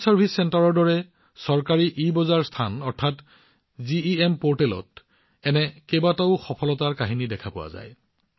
common service চেণ্টাৰৰ দৰে চৰকাৰী ইবজাৰ স্থান অৰ্থাৎ জিইএম পৰ্টেলত এনে কিমানটা সফলতাৰ কাহিনী দেখা গৈছে